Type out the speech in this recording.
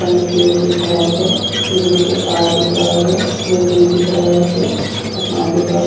सामने पेड़ दिख रहल छै बिजली के तार दिख रहल छै बिल्डिंग दिख रहल छै आसमान दिख रहल --